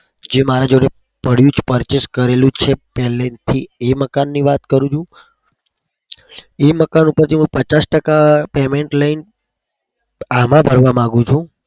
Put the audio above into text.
જે મારા જોડે પડ્યું જ purchase કરેલું છે પેલેથી. એ મકાનની વાત કરું છુ એ મકાન ઉપરથી હું પચાસ ટકા payment લઈને આમાં ભરવા માગું છું.